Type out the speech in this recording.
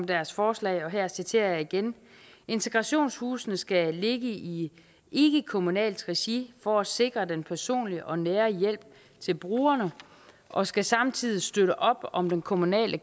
deres forslag og her citerer jeg igen integrationshusene skal ligge i ikkekommunalt regi for at sikre den personlige og nære hjælp til brugerne og skal samtidig støtte op om den kommunale